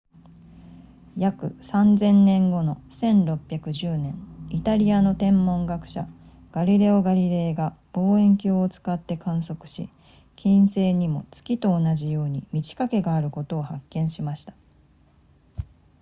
約 3,000 年後の1610年イタリアの天文学者ガリレオガリレイが望遠鏡を使って観測し金星にも月と同じように満ち欠けがあることを発見しました